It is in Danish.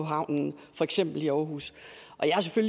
havnen for eksempel i aarhus